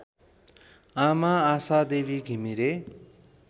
आमा आशादेवी घिमिरे